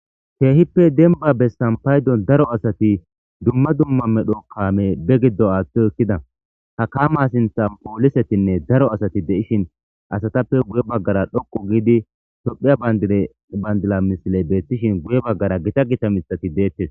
Keehippe denba bessan paydon daro asati dumma dumma medho kaame be giddo aathto ekkida ha kama sinthan poolisetinne daro asati de'ishin asatappe guye baggara dhoqu giidi tophiya bayndila misiley beettishin guye baggara gita gita mithati deettes.